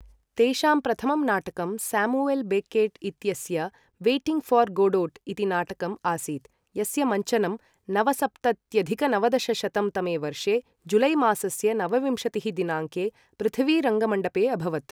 तेषां प्रथमं नाटकं सैमुअल् बेकेट् इत्यस्य वेटिंग् फ़ॉर् गोडोट् इति नाटकम् आसीत्, यस्य मञ्चनं नवसप्तत्यधिक नवदशशतं तमे वर्षे जुलैमासस्य नवविंशतिः दिनाङ्के पृथ्वीरङ्गमण्डपे अभवत् ।